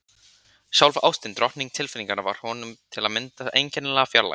Sjálf ástin, drottning tilfinninganna, var honum til að mynda einkennilega fjarlæg.